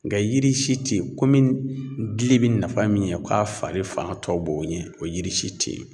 Nga yiri si tɛ yen komi gili bɛ nafa min ɲɛ o k'a fari fan tɔ b'o ɲɛ o yiri si tɛ yen